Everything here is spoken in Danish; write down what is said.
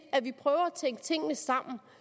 at vi prøver at tænke tingene sammen